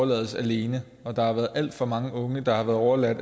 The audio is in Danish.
lades alene der har været alt for mange unge der har været overladt